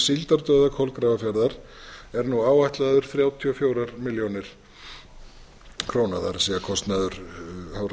síldardauða kolgrafafjarðar er nú áætlaður þrjátíu og fjórar milljónir króna kostnaður hafrannsóknastofnunar gert